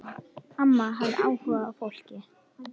Amma hafði áhuga á fólki.